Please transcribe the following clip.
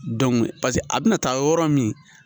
pase a bɛna taa yɔrɔ min.